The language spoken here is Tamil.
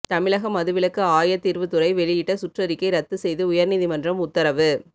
தமிழக மதுவிலக்கு ஆயத்தீர்வு துறை வெளியிட்ட சுற்றறிக்கை ரத்து செய்து உயர்நீதிமன்றம் உத்தரவு